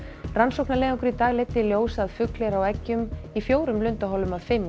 rannsóknarleiðangur í dag leiddi í ljós að fugl er á eggjum í fjórum lundaholum af fimm í